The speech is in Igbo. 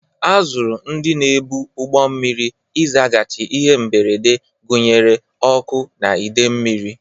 A zụrụ ndị na-ebu ụgbọ mmiri ịzaghachi ihe mberede, gụnyere ọkụ na idei mmiri.